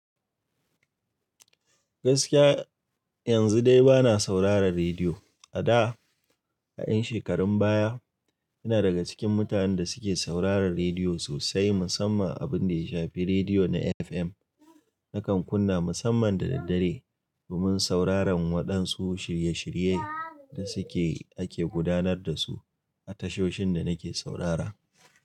Gaskiya yanzu dai bana sauraron rediyo. A da, a ƴan shekarun baya, ina daga cikin mutanen da suke sauraron rediyo sosai, musamman abin da ya shafi rediyo na FM. Nakan kunna musamman da daddare domin sauraron waɗansu shirye-shiryaye da suke ake gudanar da su a tashoshin da nake saurara.